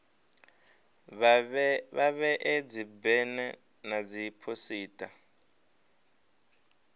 vha vhee dzibena na dziphosita